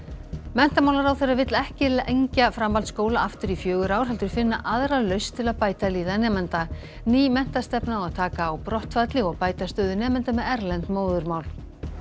menntamálaráðherra vill ekki lengja framhaldskóla aftur í fjögur ár heldur finna aðra lausn til að bæta líðan nemenda ný menntastefna á að taka á brottfalli og bæta stöðu nemenda með erlend móðurmál